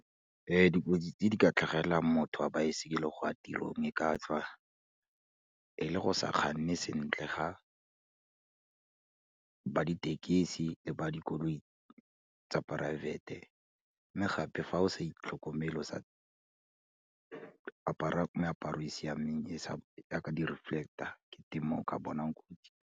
Dikotsi tse di ka tlhagelelang motho wa baesekele go ya tirong e ka tswa e le go sa kganne sentle ga ba ditekesi le ba dikoloi tsa private-e, mme gape fa o sa itlhokomele o sa apara meaparo e e siameng, yaka di-reflector ke mo o ka bonang.